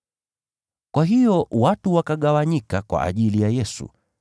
Kwa hiyo watu wakagawanyika kwa ajili ya Yesu.